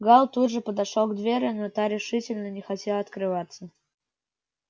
гаал тут же подошёл к двери но та решительно не хотела открываться